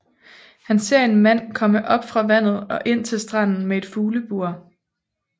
Han ser en mand komme op fra vandet og ind til stranden med et fuglebur